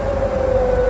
Həyyə ələs-səlah.